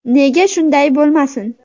Nega shunday bo‘lmasin?